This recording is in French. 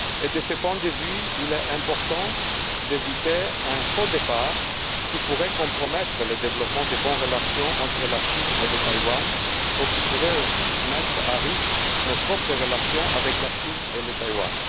De ce point de vue, il est important d'éviter un faux départ qui pourrait compromettre le développement des bonnes relations entre la Chine et Taïwan ou qui pourrait aussi mettre en péril nos propres relations avec la Chine et Taïwan.